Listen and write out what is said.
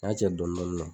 N y'a cɛ dɔnna